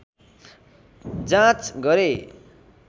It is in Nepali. जाँच गरे